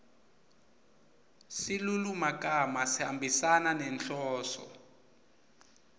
silulumagama sihambisana nenhloso